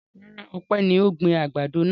Rárá, Ọpẹ́ ni ó gbin àgbàdo náà.